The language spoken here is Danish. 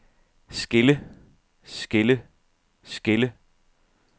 skille skille skille